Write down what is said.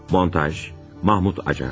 Montaj: Mahmud Acar.